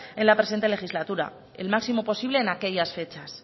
en la presente legislatura el máximo posible en aquellas fechas